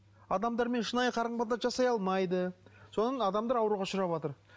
адамдармен шынайы қарым қатынас жасай алмайды содан адамдар ауруға ұшыраватыр